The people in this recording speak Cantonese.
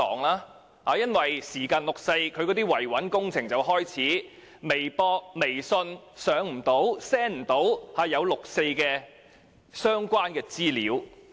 每逢臨近六四，維穩工程便會開始，例如不能透過微博、微訊上載和 send 關於六四的資料。